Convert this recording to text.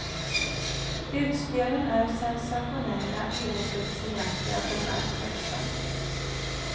Utspelen är sensationella i ordets egentliga bemärkelse.